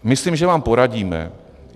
Myslím, že vám poradíme.